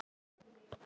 Og roðna.